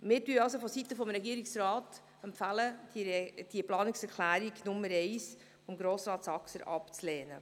Seitens des Regierungsrats empfehlen wir, die Planungserklärung Nr. 1 von Grossrat Saxer abzulehnen.